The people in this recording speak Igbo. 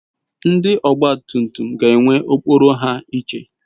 Ndi ogba tum tum ga ewe okporo ha iche